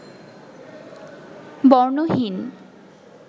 বর্ণহীন